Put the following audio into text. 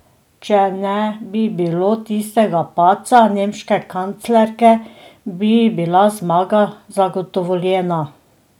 Če ne bi bilo tistega padca nemške kanclerke, bi bila zmaga zagotovljena.